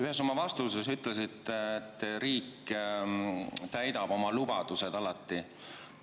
Ühes oma vastuses ütlesite, et riik täidab oma lubadused alati.